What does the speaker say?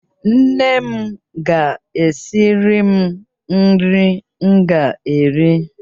Nne m ga-esiri m nri m ga-eri.